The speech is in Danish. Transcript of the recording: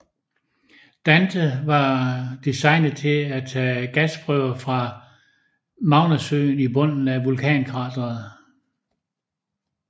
Dante var designet til at tage gasprøver fra magmasøen i bunden af vulkankrateret